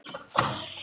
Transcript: Við vorum heima hjá